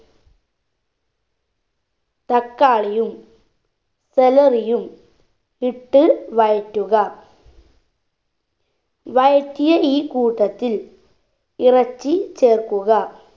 തക്കാളിയും celery യും ഇട്ട് വഴറ്റുക വഴറ്റിയ ഈ കൂട്ടത്തിൽ ഇറച്ചി ചേർക്കുക